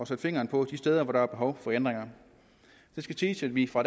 sætte fingeren på de steder hvor der er behov for ændringer det skal siges at vi fra